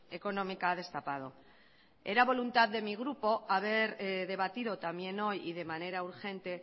económica ha destapado era voluntad de mi grupo haber debatido también hoy y de manera urgente